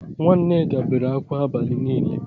Nwa Nneka bere akwa abali nile